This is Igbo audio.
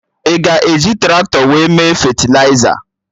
Ị ga-eji Traktọ wee mee fetịliza?